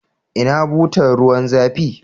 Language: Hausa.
Ina butar ruwan zafi?